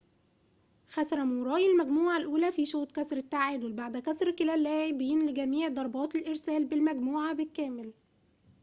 خسر موراي المجموعة الأولى في شوط كسر التعادل بعد كسر كلا اللاعبين لجميع ضربات الإرسال بالمجموعة بالكامل